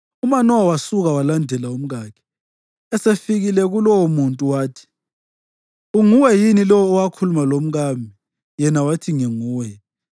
UManowa wasuka walandela umkakhe. Esefikile kulowomuntu, wathi, “Unguwe yini lowo owakhuluma lomkami?” Yena wathi, “Nginguye.”